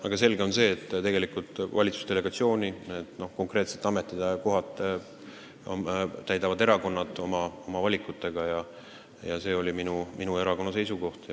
Aga selge on, et valitsusega seotud konkreetsed ametikohad täidavad erakonnad oma valikuid tehes ja see oli minu erakonna seisukoht.